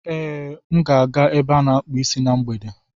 Ee, m ga-aga ebe a akpụ isi na mgbede.